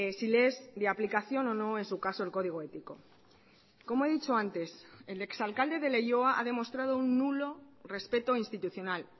si le es de aplicación o no en su caso el código ético como he dicho antes el exalcalde de leioa ha demostrado un nulo respeto institucional